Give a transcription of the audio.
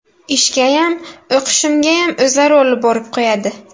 Ishgayam, o‘qishimgayam o‘zlari olib borib qo‘yadi.